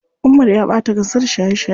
Umar ya ɓata kansa da shaye shaye.